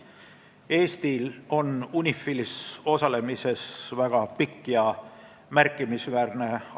Eesti on UNIFIL-is osalenud märkimisväärselt kaua.